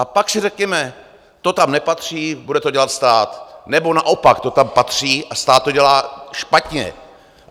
A pak si řekněme: to tam nepatří, bude to dělat stát, nebo naopak: to tam patří a stát to dělá špatně.